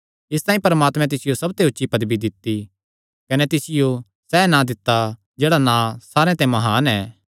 इसतांई परमात्मैं तिसियो सबते ऊची पदवी दित्ती कने तिसियो सैह़ नां दित्ता जेह्ड़ा सारे नां च म्हान ऐ